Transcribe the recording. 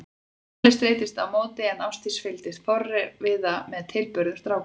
Palli streittist á móti en Ásdís fylgdist forviða með tilburðum strákanna.